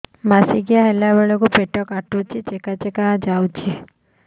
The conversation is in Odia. ମାସିକିଆ ହେଲା ବେଳକୁ ପେଟ କାଟୁଚି ଚେକା ଚେକା ଯାଉଚି